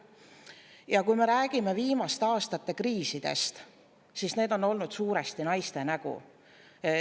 Ja kui me räägime viimaste aastate kriisidest, siis need on olnud suuresti naiste nägu.